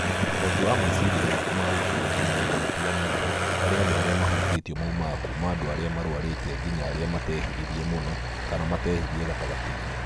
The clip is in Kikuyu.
ũhoti wa meciria maku ma gũtabania maũndũ matiganĩte harĩ andũ arĩa mahutĩtio maumaga kuma andũ arĩa marwarĩte nginya arĩa matehĩrĩirie mũno kana matehiririirie gatagatĩ-inĩ